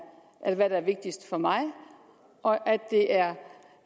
vigtigst for mig og at det er